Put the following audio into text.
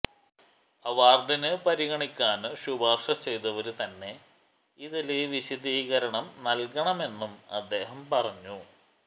അവാര്ഡിന് പരിഗണിക്കാന് ശുപാര്ശ ചെയ്തവര് തന്നെ ഇതില് വിശദീകരണം നല്കണമെന്നും അദ്ദേഹം പറഞ്ഞു